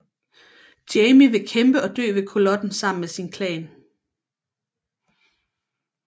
Jamie vil kæmpe og dø ved Culloden sammen med sin klan